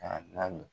Ka na